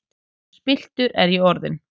Svo spilltur er ég orðinn!